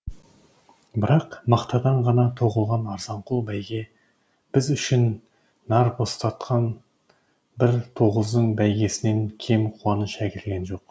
бірақ мақтадан ғана тоқылған арзанқол бәйге біз үшін нар бастатқан бір тоғыздың бәйгесінен кем қуаныш әкелген жоқ